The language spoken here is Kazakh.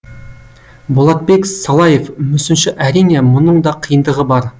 болатбек салаев мүсінші әрине мұның да қиындығы бар